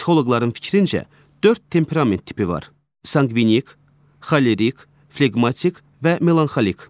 Psixoloqların fikrincə, dörd temperament tipi var: sanqvinik, xolerik, fleqmatik və melanxolik.